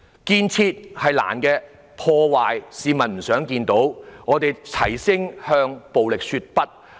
建設困難，市民也不想看到破壞，我們要齊聲向暴力說不。